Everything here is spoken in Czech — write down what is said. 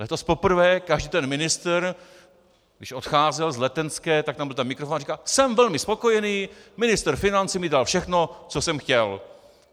Letos poprvé každý ten ministr, když odcházel z Letenské, tak tam byl ten mikrofon a říkal: jsem velmi spokojený, ministr financí mi dal všechno, co jsem chtěl.